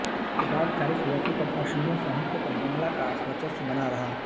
उसके बाद चालीस वर्षों तक असमिया साहित्य पर बांग्ला का वर्चस्व बना रहा